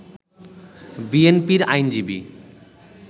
বিএনপির আইনজীবী